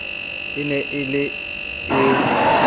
e ne e le e